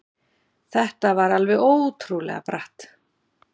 Þetta var alveg ótrúlega bratt.